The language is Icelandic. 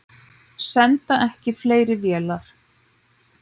Senda ekki fleiri vélar